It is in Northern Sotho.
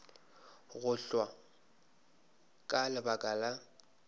go hwa ka lebaka la